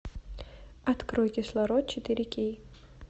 открой кислород четыре кей